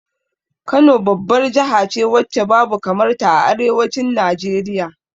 Kano babbar jahace wacce babu kamar ta a arewacin Najeriya